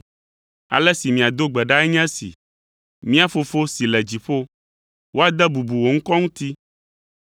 “Ale si miado gbe ɖae nye esi: “ ‘Mía Fofo si le dziƒo, woade bubu wò ŋkɔ ŋuti,